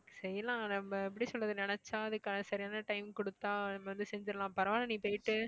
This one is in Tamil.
செய்யலாம் நம்ம எப்படி சொல்றது நினைச்சா அதுக்கான சரியான time கொடுத்தா நம்ம வந்து செஞ்சிரலாம் பரவாயில்லை நீ போயிட்டு